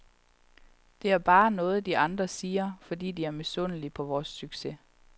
Det er bare noget, de andre siger, fordi de er misundelige på vores succes.